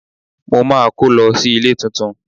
Mo máa kó lọ sí ilé tuntun.